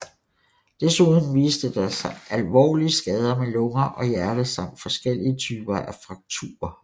Desuden viste der sig alvorlige skader med lunger og hjerte samt forskellige typer af frakturer